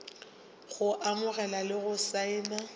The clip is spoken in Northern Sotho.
go amogela le go saena